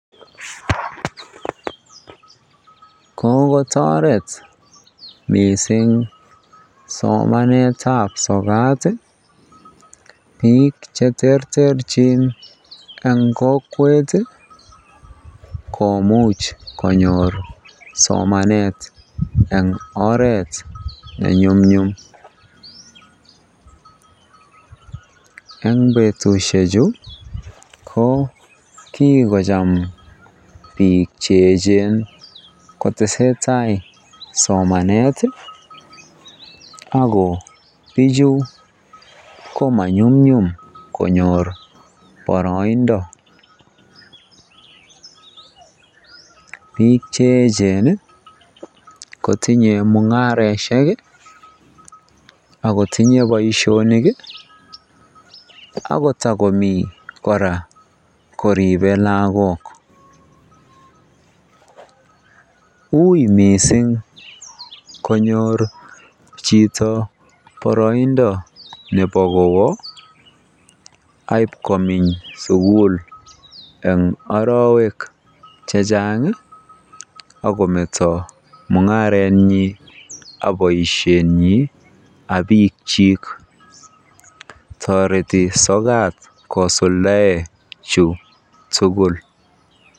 Kokotoret mising smanetab sokat biik cheterterchin en kokwet komuch konyor somanet en oreet nenyumnyum, eng betushechu ko kikocham biik che echen kotesetai somanet ak ko bichu ko manyumnyum konyor boroindo, biik che echen kotinye mungaroshek ak kotinye boishonik ak kotokomi koribe kora lakok, uii mising konyor chito boroindo kowoo aiib komeny sukul eng orowek chechang ak kometo mungarenyin ak boishenyin ak biikyik, toreti sokat kosuldaen chu tukul.